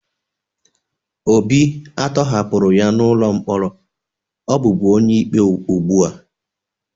Obi a tọhapụrụ ya n'ụlọ mkpọrọ ọ bụbu onye ikpe ugbu a